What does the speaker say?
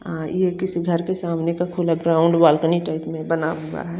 हां ये किसी घर के सामने का खुला पोंड बालकनी टाइप में बना हुआ है।